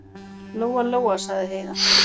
Lóa-Lóa, sagði Heiða.